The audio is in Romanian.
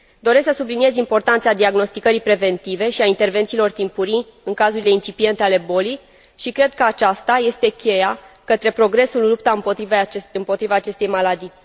Doresc să subliniez importanța diagnosticării preventive și a intervențiilor timpurii în cazurile incipiente ale bolii și cred că aceasta este cheia către progresul în lupta împotriva acestei maladii.